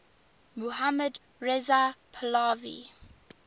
mohammad reza pahlavi